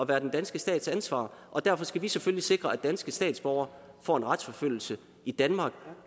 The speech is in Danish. være den danske stats ansvar og derfor skal vi selvfølgelig sikre at danske statsborgere får en retsforfølgelse i danmark